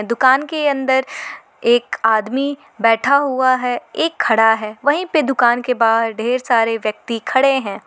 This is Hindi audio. दुकान के अंदर एक आदमी बैठा हुआ है एक खड़ा है वहीं पे दुकान के बाहर ढेर सारे व्यक्ति खड़े हैं।